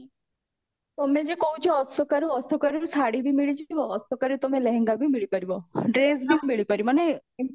ତମେ ଯୋଉ କହୁଚ ଅଶୋକାରୁ ଅଶୋକାରୁ ଶାଢୀ ବି ମିଳିଯିବ ଅଶୋକରେ ତମ ଲେହେଙ୍ଗା ବି ମିଳି ପାରିବ ଡ୍ରେସ ବି ମିଳିପାରିବ ମାନେ